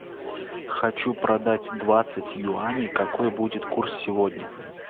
хочу продать двадцать юаней какой будет курс сегодня